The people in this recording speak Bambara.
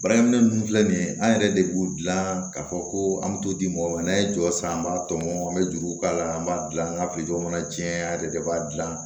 Baarakɛminɛ ninnu filɛ nin ye an yɛrɛ de b'u dilan k'a fɔ ko an bɛ t'o di mɔgɔw ma n'an ye jɔ san an b'a tɔmɔ an bɛ juruw k'a la an b'a dilan an ka jamana tiɲɛ an yɛrɛ de b'a dilan